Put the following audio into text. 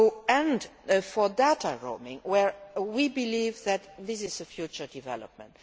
And for data roaming, where we believe that this is a future development.